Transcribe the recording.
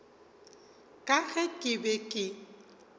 ka ge ke be ke